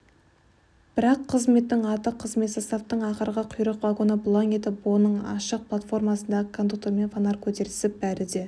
бірақ қызметтің аты қызмет составтың ақырғы құйрық вагоны бұлаң етіп оның ашық платформасындағы кондуктормен фонарь көтерісіп бәрі де